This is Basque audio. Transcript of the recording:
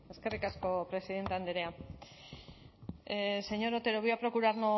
eskerrik asko presidente andrea señor otero voy a